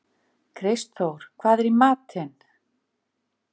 Kristþór, hvað er í matinn?